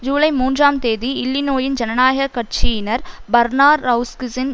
ஜூலை மூன்றாம் தேதி இல்லிநோயின் ஜனநாயக கட்சியினர் பர்நாரெளஸ்கிசின்